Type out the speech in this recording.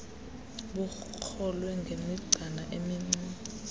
bukrolwe ngemigcana emincinci